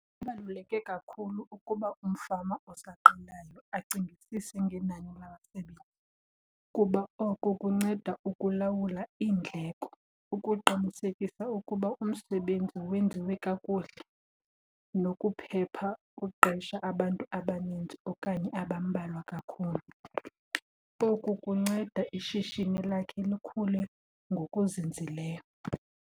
Kubaluleke kakhulu ukuba umfama osaqalayo acingisise ngenani labasebenzi kuba oko kunceda ukulawula iindleko, ukuqinisekisa ukuba umsebenzi wenziwe kakuhle, nokuphepha uqesha abantu abaninzi okanye abambalwa kakhulu. Oku kunceda ishishini lakhe likhule ngokuzinzileyo.